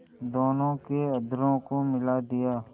दोनों के अधरों को मिला दिया